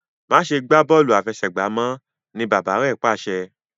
ma ṣe gbà Bọ́ọ̀lù àfẹsẹ̀gbá mọ! ní bàbá rẹ pàṣẹ.